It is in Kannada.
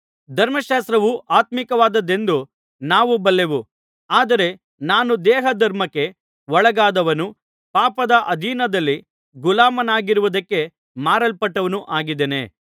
ಧರ್ಮಶಾಸ್ತ್ರವು ಆತ್ಮೀಕವಾದದ್ದೆಂದು ನಾವು ಬಲ್ಲೆವು ಆದರೆ ನಾನು ದೇಹಧರ್ಮಕ್ಕೆ ಒಳಗಾದವನೂ ಪಾಪದ ಅಧೀನದಲ್ಲಿ ಗುಲಾಮನಾಗಿರುವುದಕ್ಕೆ ಮಾರಲ್ಪಟ್ಟವನೂ ಆಗಿದ್ದೇನೆ